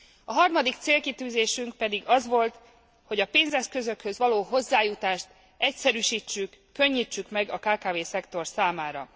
A harmadik célkitűzésünk pedig az volt, hogy a pénzeszközökhöz való hozzájutást egyszerűsítsük, könnyítsük meg a kkv szektor számára.